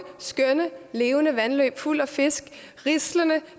skønne levende vandløb fulde af fisk rislende